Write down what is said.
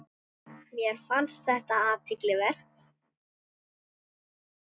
Mér fannst þetta athygli vert.